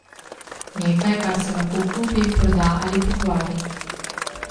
Nekaj, kar se lahko kupi, proda ali pokvari.